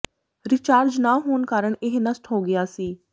recharge ਨਾ ਹੋਣ ਕਾਰਨ ਇਹ ਨਸ਼ਟ ਹੋ ਗਿਆ ਸੀ